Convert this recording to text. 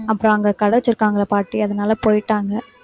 ஏன் அதுல எல்லாம் cake லாம் செய்வாங்கல blueberry cake உ blackberry cake உ